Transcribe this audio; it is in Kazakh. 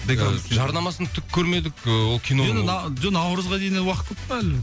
жарнамасын түк көрмедік ы ол киноның жоқ наурызға дейін әлі уақыт көп қой әлі